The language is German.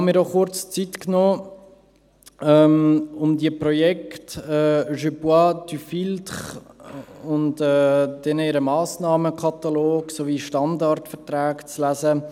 Ich habe mir kurz Zeit genommen, um die Projekte «Je filtre, tu bois» und deren Massnahmenkatalog sowie die Standardverträge zu lesen.